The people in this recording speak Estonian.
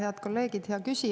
Head kolleegid!